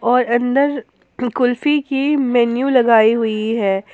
और अंदर कुल्फी की मेन्यू लगाई हुई है।